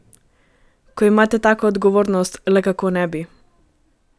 Ko imate tako odgovornost, le kako ne bi?